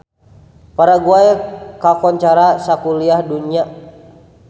Paraguay kakoncara sakuliah dunya